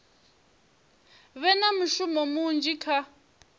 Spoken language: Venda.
vhe na mushumo munzhi kha